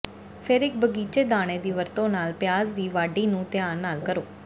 ਫਿਰ ਇਕ ਬਗ਼ੀਚੇ ਦਾਣੇ ਦੀ ਵਰਤੋ ਨਾਲ ਪਿਆਜ਼ ਦੀ ਵਾਢੀ ਨੂੰ ਧਿਆਨ ਨਾਲ ਕਰੋ